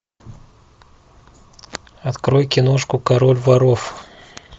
открой киношку король воров